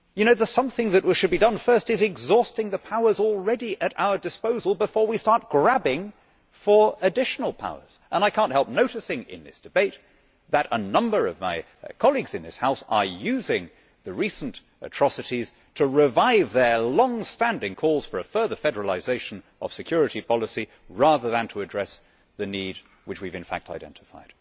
The something that should be done first is to exhaust the powers already at our disposal before we start grabbing for additional powers, and I cannot help noticing in this debate that a number of my colleagues in this House are using the recent atrocities to revive their long standing calls for a further federalisation of security policy, rather than to address the need which we have in fact identified.